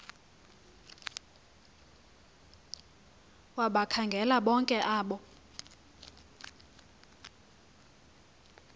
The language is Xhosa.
wabakhangela bonke abo